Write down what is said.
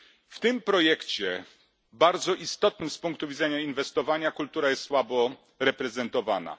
W tym projekcie, bardzo istotnym z punktu widzenia inwestowania, kultura jest słabo reprezentowana.